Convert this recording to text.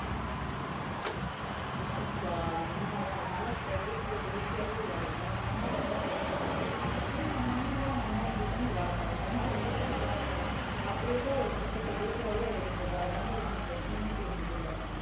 ஆமாக்கா அது உண்மைதான் நம்ம எல்லாம் இப்ப இயற்கையோட இயற்கையாவே விளையாடுவோம் நம்பலாம் உடம்புக்கு ஒண்ணும் வராது ஏன்னா நம்ம மைன்ட் எல்லாம் மறுநாள் எந்திரிக்கணும் விளையாட போகணும் மறுநாள் எந்திரிக்கணும் விளையாட போகணும் அப்படியேதான் ஒரு குறிப்பிட்ட ஏஜ் வரையும் இருந்தது அதனால ஒண்ணும் பிரச்சனையே தெரிஞ்சது இல்லை